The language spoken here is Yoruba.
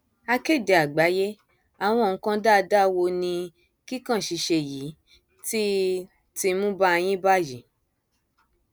akéde àgbàyéàwọn nǹkan dáadáa wo ni kíkàn ṣíṣe yìí ti ti mú bá yín báyìí